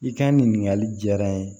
I ka nin ɲininkali jaara n ye